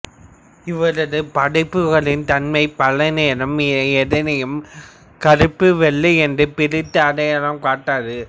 இவரது படைப்புகளின் தன்மை பல நேரம் எதனையும் கருப்பு வெள்ளையென்று பிரித்து அடையாளம் காட்டாது